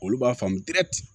Olu b'a faamu